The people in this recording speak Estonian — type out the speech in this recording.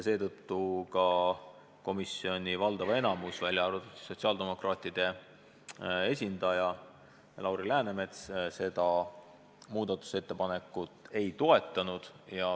Seetõttu komisjoni valdav enamus, välja arvatud sotsiaaldemokraatide esindaja Lauri Läänemets, seda muudatusettepanekut ei toetanud.